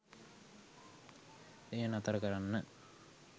එය නතර කරන්න